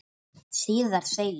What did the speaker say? Síðar segir